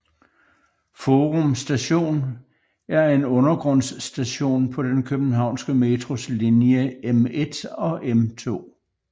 Forum Station er en undergrundsstation på den københavnske Metros linje M1 og M2